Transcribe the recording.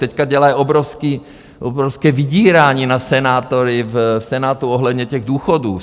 Teď dělají obrovské vydírání na senátory v Senátu ohledně těch důchodů.